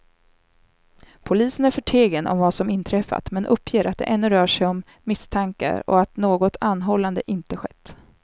Polisen är förtegen om vad som inträffat, men uppger att det ännu rör sig om misstankar och att något anhållande inte skett.